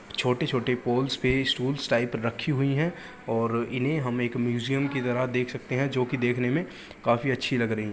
छोटे छोटे पोल्स पे टूल्स टाइप रखी हुई हैं और इन्हें हमे एक म्यूजियम के तरह देख सकते हैं जोकि देखने में काफी अच्छी लग रहीं --